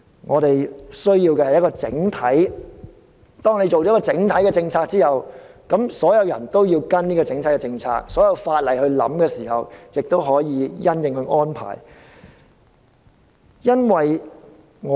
我們需要一項整體的政策，當有了一項整體的政策之後，所有人都要跟隨這項政策，在考慮立法時亦可以因應這項政策而作出安排。